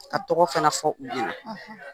A tɔgɔ fana fɔ u ye